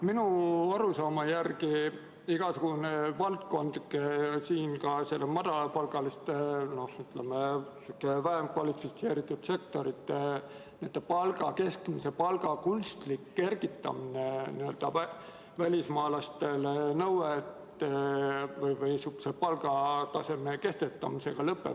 Minu arusaama järgi lõpeb halvasti igasugune valdkondlik, ka selle madalapalgaliste, vähem kvalifitseeritud sektorite keskmise palga kunstliku kergitamise nõue välismaalaste puhul või see palgataseme kehtestamine.